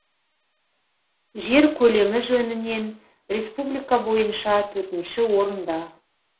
жер көлемі жөнінен республика бойынша төртінші орында